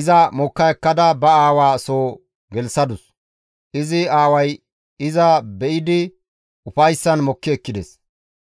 iza mokka ekkada ba aawaa soo gelththadus; izi aaway iza be7idi ufayssan mokki ekkides.